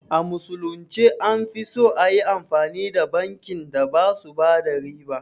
A musulunce an fi so ayi amfani da bankin da basu bada riba